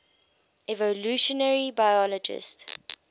evolutionary biologists